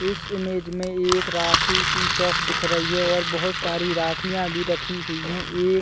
इस इमेज मे एक राखी की शॉप दिख रही है और बहुत सारी राखियाँ भी रखी हुई है एक--